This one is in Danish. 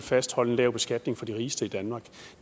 fastholde en lav beskatning for de rigeste i danmark